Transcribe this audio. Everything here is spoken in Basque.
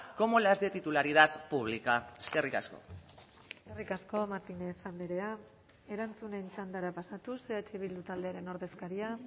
como las de titularidad pública eskerrik asko eskerrik asko martínez andrea erantzunen txandara pasatuz eh bildu taldearen ordezkaria